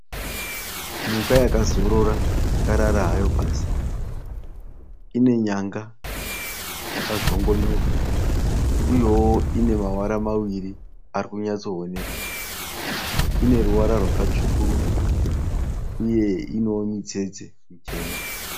Mhuka yakazorora yakarara hayo pasi. Ine nyanga dzakazvongonyoka uyewo ine mavara maviri ari kunyatsooneka. Ine ruvara rwakatsvukuruka uye inewo mitsetse michena.